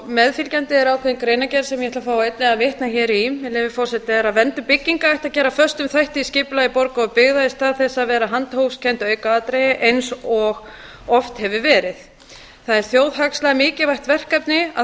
meðfylgjandi er ákveðin greinargerð sem ég ætla einnig að fá að vitna hér í með leyfi forseta verndun bygginga ætti að gera að föstum þætti í skipulagi borga og byggða í stað þess að vera handahófskennt aukaatriði eins og oft hefur verið það er þjóðhagslega mikilvægt verkefni að